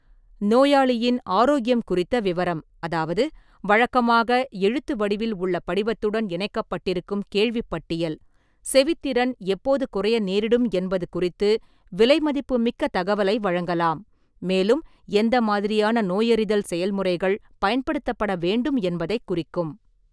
நோயாளியின் ஆரோக்கியம் குறித்த விவரம் அதாவது வழக்கமாக எழுத்து வடிவில் உள்ள படிவத்துடன் இணைக்கப்படிருக்கும் கேள்விப்பட்டியல், செவித் திறன் எப்போது குறைய நேரிடும் என்பது குறித்து விலைமதிப்புமிக்க தகவலை வழங்கலாம், மேலும் எந்த மாதிரியான நோயறிதல் செயல்முறைகள் பயன்படுத்தப்பட வேண்டும் என்பதைக் குறிக்கும்.